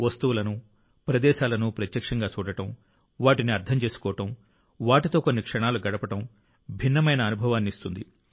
వస్తువులను లేదా ప్రదేశాలను ప్రత్యక్షంగా చూడడం వాటిని అర్థం చేసుకోవడం వాటితో కొన్ని క్షణాలు గడపడం భిన్నమైన అనుభవాన్ని ఇస్తుంది